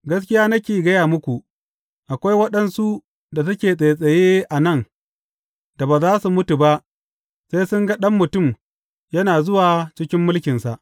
Gaskiya nake gaya muku, akwai waɗansu da suke tsaitsaye a nan da ba za su mutu ba sai sun ga Ɗan Mutum yana zuwa cikin mulkinsa.